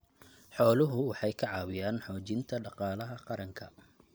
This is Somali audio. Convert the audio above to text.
Xooluhu waxay ka caawiyaan xoojinta dhaqaalaha qaranka.